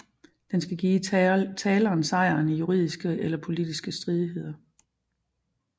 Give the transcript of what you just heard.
Den skal give taleren sejren i juridiske eller politiske stridigheder